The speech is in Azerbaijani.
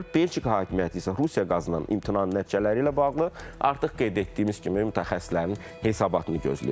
Belçika hakimiyyəti isə Rusiya qazından imtinanın nəticələri ilə bağlı artıq qeyd etdiyimiz kimi mütəxəssislərin hesabatını gözləyir.